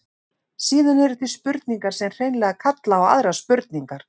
Síðan eru til spurningar sem hreinlega kalla á aðrar spurningar.